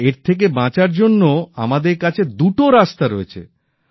আর এর থেকে বাঁচার জন্য আমাদের কাছে দুটো রাস্তা রয়েছে